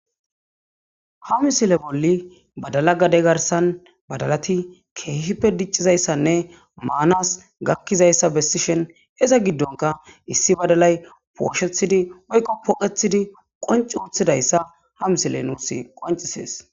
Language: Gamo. ha misile bolli badala gade garsan badalati keehippe diccizayssanne maanas gakkizayssa bessishen eza giddonka issi badalay pooshethidi woykko pooqethidi qonci uththidayssa ha misile nuus qoncisees